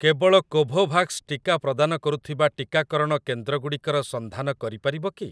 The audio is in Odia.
କେବଳ କୋଭୋଭାକ୍ସ ଟିକା ପ୍ରଦାନ କରୁଥିବା ଟିକାକରଣ କେନ୍ଦ୍ରଗୁଡ଼ିକର ସନ୍ଧାନ କରିପାରିବ କି?